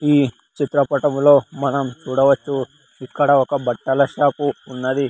ఈ చిత్ర పట్టంలో మనం చూడవచ్చు ఇక్కడ ఒక బట్టల షాపు ఉన్నది.